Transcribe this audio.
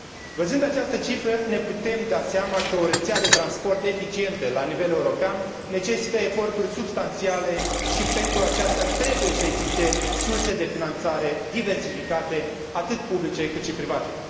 Văzând această cifră ne putem da seama că o rețea de transport eficientă la nivel european necesită eforturi substanțiale și pentru aceasta trebuie să existe surse de finanțare diversificate, atât publice, cât și private.